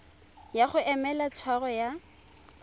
ya go emela tshwaro ya